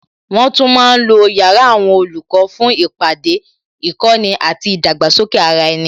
Wọn tún ma ń lo yàrá àwọn olùkọ́ fún ìpàdé, ìkọ́ni àti ìdàgbàsókè ara ẹni